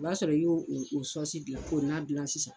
O b'a sɔrɔ yo o o gilan k'o nan gilan sisan.